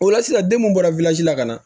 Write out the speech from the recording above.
O la sisan den mun bɔra la ka na